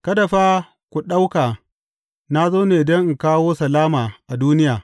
Kada fa ku ɗauka na zo ne don in kawo salama a duniya.